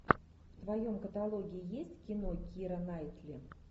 в твоем каталоге есть кино кира найтли